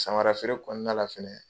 Samara feere kɔnɔna la fɛnɛ